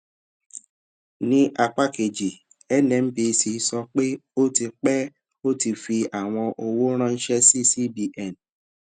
ni apa keji nnpc sọ pe o ti pe o ti fi awọn owo ranṣẹ si cbn